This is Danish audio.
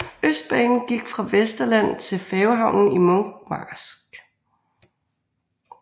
Østbanen gik fra Vesterland til færgehavnen i Munkmarsk